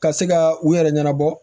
Ka se ka u yɛrɛ ɲɛnabɔ